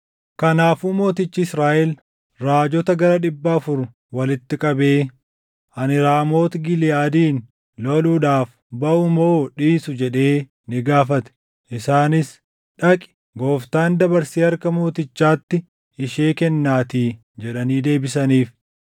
Kanaafuu Mootichi Israaʼel raajota gara dhibba afur walitti qabee, “Ani Raamooti Giliʼaadin loluudhaaf baʼu moo dhiisu?” jedhee ni gaafate. Isaanis, “Dhaqi; Gooftaan dabarsee harka mootichaatti ishee kennaatii” jedhanii deebisaniif.